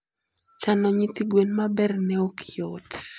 Chano nyithigwen maber ne ok yot.